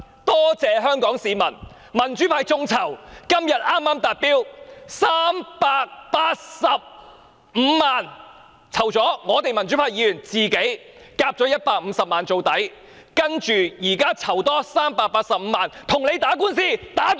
多謝香港市民，民主派的眾籌活動剛於今天達標，籌得385萬元，連同民主派議員自行科款150萬元，誓要將官司帶到終審法院為止。